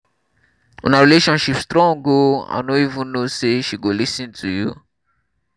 una relationship strong oo i no even know say she go lis ten to you